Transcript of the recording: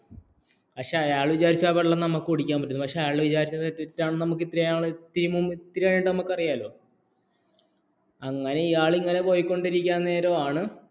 പക്ഷേ അയാൾ വിചാരിച്ചു നമുക്ക് ആ വെള്ളം കുടിക്കാൻ പറ്റുമെന്ന് പക്ഷേ അയാൾ വിചാരിച്ചത് നമുക്ക് തെറ്റാണെന്ന് ഇത്തിരി ആയിട്ട് നമുക്ക് അറിയാമല്ലോ അങ്ങനെ ഇയാൾ ഇങ്ങനെ പോയിക്കൊണ്ടിരിക്കുന്ന നേരാമമാണ്